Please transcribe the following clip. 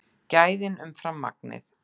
Gæðin umfram magnið